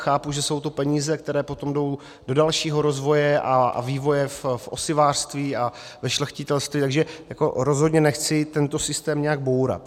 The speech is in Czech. Chápu, že jsou to peníze, které potom jdou do dalšího rozvoje a vývoje v osivářství a ve šlechtitelství, takže rozhodně nechci tento systém nijak bourat.